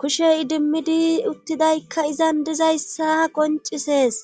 kushe idimmidi uttidaykka izan dizayssa qoncisees.